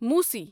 موسی